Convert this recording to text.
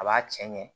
A b'a cɛ ɲɛ